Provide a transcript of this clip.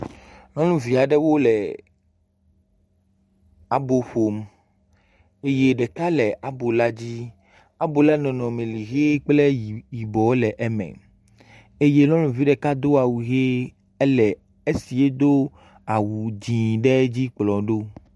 Nyɔnuvi aɖe wo le abo ƒom, eye ɖeka ɖeka nɔ abɔ la dzi. Abo la ƒe nɔnɔme le ʋɛ kple yibɔ le eme eye nyɔnuvi ɖeka do awu ʋɛ le esi edo awu dzɛ dzi kplɔm ɖo.